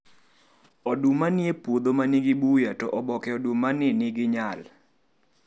Oduma nie puodho manigi buya to oboke oduma ni nigiynal.